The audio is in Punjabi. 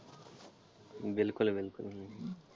ਬਿਲਕੁਲ ਬਿਲਕੁਲ।